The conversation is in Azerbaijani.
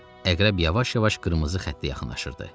Əqrəb yavaş-yavaş qırmızı xəttə yaxınlaşırdı.